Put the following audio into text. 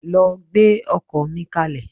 Lọ gbẹ́ ọkọ́ mi kalẹ̀.